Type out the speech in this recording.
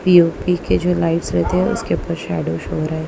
P O P के जो lights रहते हैं उसके ऊपर शैडो शो हो रहा--